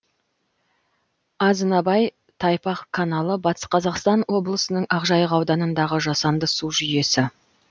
азынабай тайпақ каналы батыс қазақстан облысының ақжайық ауданындағы жасанды су жүйесі